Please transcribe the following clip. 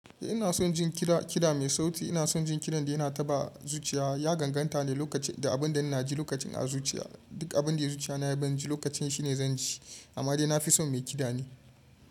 Eh ina son jin kiɗa, kiɗa mai sauti. Ina son jin kiɗan da yana taɓa zuciya, ya ganganta ne lokacin da abin da ina ji lokacin a zuciya. Duk abin da ya zuciya na ya ban ji lokacin shine zan ji amma dai na fi son mai kiɗa ne.